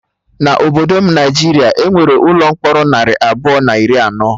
Na obodo Naijiria, Enwere ụlọ mkpọrọ narị abụọ na iri anọ